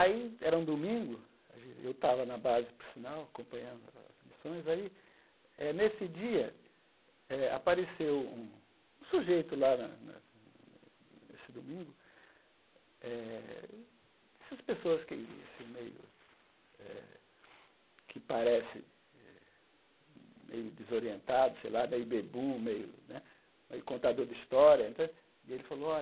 Aí, era um domingo, eu estava na base, por sinal, acompanhando as missões, aí, eh nesse dia eh, apareceu um um sujeito lá na na nesse domingo eh, dessas pessoas que se meio eh que parece meio desorientado sei lá, meio bebum, meio né meio contador de história entã, e ele falou, olha